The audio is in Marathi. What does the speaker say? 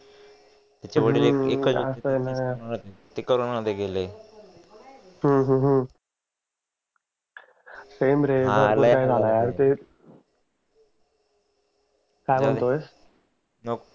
हम्म सेम रे नको